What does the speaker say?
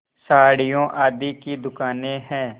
साड़ियों आदि की दुकानें हैं